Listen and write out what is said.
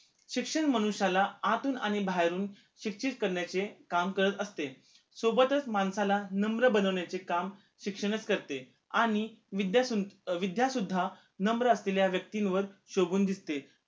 शिक्षण मनुष्याला आतून आणि बाहेरून शिक्षित करण्याचे काम करत असते सोबतच माणसाला नम्र बनवण्याचे काम शिक्षणच करते आणि विद्या सुद्धा विद्या सुद्धा नम्र असलेल्या व्यक्तींवर शोभून दिसते